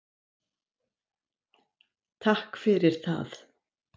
Takk fyrir það!